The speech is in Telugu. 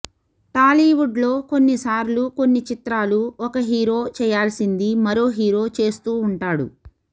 టాలీవుడ్లో కొన్ని సార్లు కొన్ని చిత్రాలు ఒక హీరో చేయాల్సింది మరో హీరో చేస్తూ ఉంటాడు